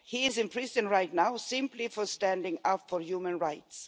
He is in prison right now simply for standing up for human rights.